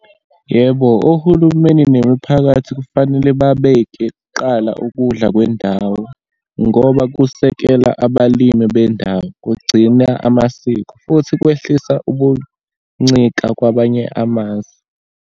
Yebo, ohulumeni nemiphakathi kufanele babeke kuqala ukudla kwendawo, ngoba kusekela abalimi bendawo, kugcina amasiko, futhi kwehlisa ukuncika kwabanye amazwe.